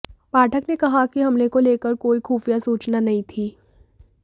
पाठक ने कहा कि हमले को लेकर कोई खुफिया सूचना नहीं थी